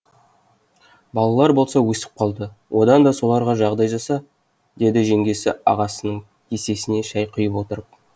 балалар болса өсіп қалды одан да соларға жағдай жаса деді жеңгесі ағасының кесесіне шай құйып отырып